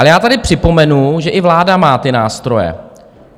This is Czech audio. Ale já tady připomenu, že i vláda má ty nástroje.